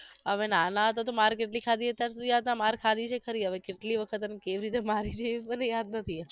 હવે નાના હતા તો માર કેટલી ખાધી એ તો યાદ ના ખાધી છે ખરી હવે કેટલી વખત અને કેવી રીતે મારી હતી એ મને યાદ નથી એ